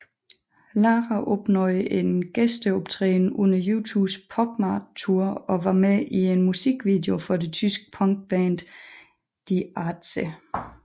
Lara opnåede en gæsteoptræden under U2s PopMart Tour og var med i en musikvideo for det tyske punkband Die Ärzte